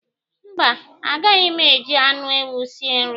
Mba, agaghị m eji anụ ewu sie nri